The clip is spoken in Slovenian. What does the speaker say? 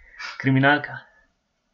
Kriminalka.